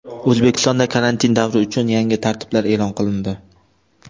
O‘zbekistonda karantin davri uchun yangi tartiblar e’lon qilindi.